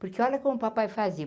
Porque olha como o papai fazia.